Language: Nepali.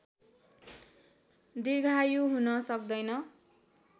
दीर्घायु हुन सक्दैन